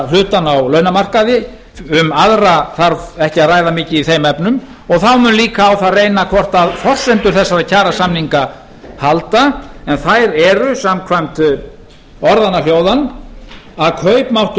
hlutann á launamarkaði um aðra þarf ekki að ræða mikið í þeim efnum og þá mun líka á það reyna hvort forsendur þessara kjarasamninga halda en þær eru samkvæmt orðanna hljóðan að kaupmáttur